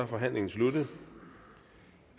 forhandlingen sluttet